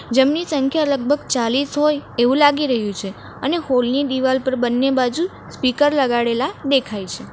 જમની સંખ્યા લગભગ ચાલીસ હોય એવું લાગી રહ્યું છે અને હોલ ની દિવાલ પર બંને બાજુ સ્પીકર લગાડેલા દેખાય છે.